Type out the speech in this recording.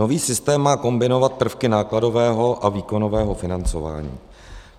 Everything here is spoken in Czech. Nový systém má kombinovat prvky nákladového a výkonového financování.